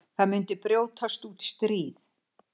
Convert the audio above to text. Það myndi brjótast út stríð.